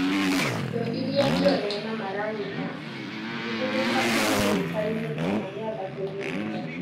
Indo iria njore cia maragita itingĩhũthĩka ihahũrũkaine kana mĩambato-inĩ mũno